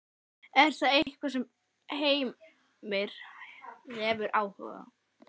Er það eitthvað sem Heimir hefur áhuga á?